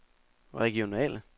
regionale